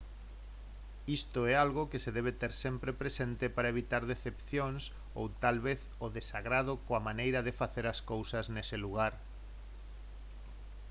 isto é algo que se debe ter sempre presente para evitar decepcións ou tal vez o desagrado coa maneira de facer as cousas nese lugar